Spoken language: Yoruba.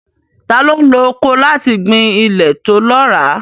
Ta ló ń lo ọkọ́ láti gbin ilẹ̀ tó lọ́ràá?